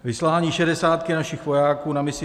Vyslání šedesátky našich vojáků na misi